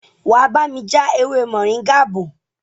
wá bami já ewé Moringa bó.